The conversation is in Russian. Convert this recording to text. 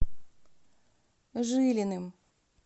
жилиным